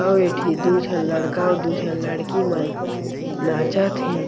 अउ ए ठी दू जन लड़का अउ दू जन लड़की मन नाचत हे।